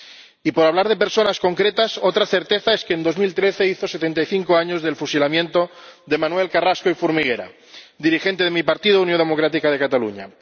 y, por hablar de personas concretas, otra certeza es que en 2013 hizo setenta y cinco años del fusilamiento de Manuel Carrasco i Formiguera, dirigente de mi partido, Unió Democràtica de Catalunya.